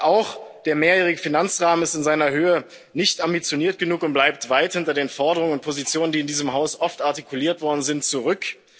Auch der mehrjährige Finanzrahmen ist in seiner Höhe nicht ambitioniert genug und bleibt weit hinter den Forderungen und Positionen, die in diesem Haus oft artikuliert worden sind, zurück.